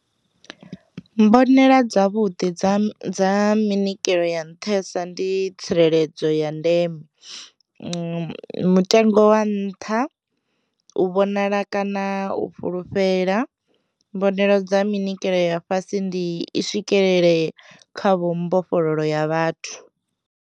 Mbonela dza vhuḓi dza dza minikelo ya nṱhesa ndi tsireledzo ya ndeme, mutengo wa nṱha, u vhonala kana u fhulufhela, mbonalelo dza minyikelo ya fhasi ndi i swikelele kha vho mbofholowo ya vhathu.